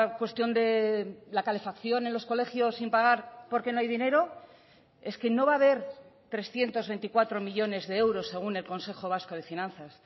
cuestión de la calefacción en los colegios sin pagar porque no hay dinero es que no va a haber trescientos veinticuatro millónes de euros según el consejo vasco de finanzas